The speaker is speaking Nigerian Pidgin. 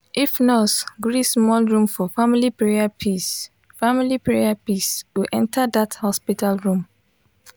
if nurse gree small room for family prayer peace family prayer peace go enter that hospital room.